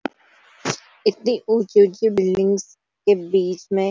इतनी ऊँची ऊँची बिल्डिंग्स के बीच में --